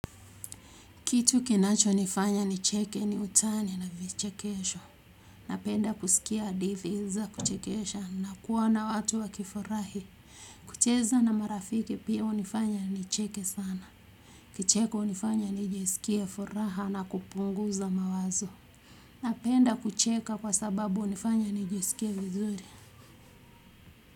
Kitu kinachonifanya nicheke ni utani na vichekesho napenda kusikia hadithi za kuchekesha na kuona watu wakifurahi. Kucheza na marafiki pia hunifanya nicheke sana. Kicheko hunifanya nijisikie furaha na kupunguza mawazo. Napenda kucheka kwa sababu hunifanya nijisikie vizuri.